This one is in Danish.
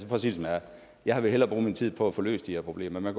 jeg hellere bruge min tid på at få løst de her problemer men